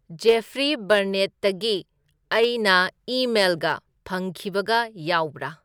Jeffrey ꯕꯔꯅꯦꯠꯇꯒꯤ ꯑꯩꯅ ꯏꯃꯦꯜꯒ ꯐꯪꯈꯤꯕꯒ ꯌꯥꯎꯕꯔꯥ